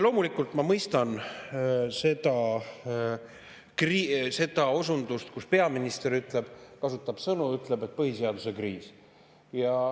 Loomulikult ma mõistan seda osundust, kui peaminister ütleb, et on põhiseaduse kriis.